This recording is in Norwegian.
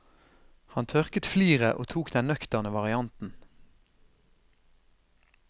Han tørket fliret og tok den nøkterne varianten.